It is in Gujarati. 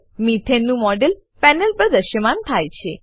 મેથાને મીથેન નું મોડેલ પેનલ પર દ્રશ્યમાન થાય છે